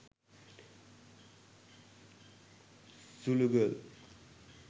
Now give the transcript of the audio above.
zulu girl